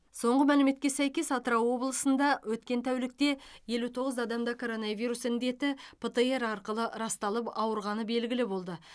соңғы мәліметке сәйкес атырау облысында өткен тәулікте елу тоғыз адамда коронавирус індеті птр арқылы расталып ауырғаны белгілі болды